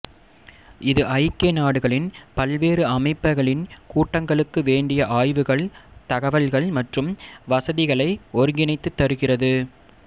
இது ஐக்கிய நாடுகளின் பல்வேறு அமைப்புகளின் கூட்டங்களுக்கு வேண்டிய ஆய்வுகள் தகவல்கள் மற்றும் வசதிகளை ஒருங்கிணைத்துத் தருகிறது